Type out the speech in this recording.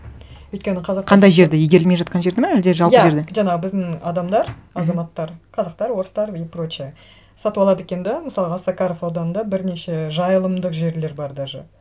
өйткені қандай жерді игерілмей жатқан жерді ме әлде жалпы жерді иә жаңағы біздің адамдар азаматтар қазақтар орыстар и прочие сатып алады екен де мысалы осакаров ауданында бірнеше жайылымдық жерлер бар даже